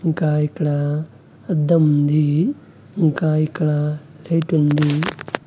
ఇంకా ఇక్కడ అద్దం ఉంది ఇంకా ఇక్కడ లైటు ఉంది.